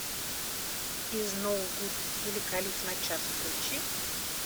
изноугуд или калиф на час включи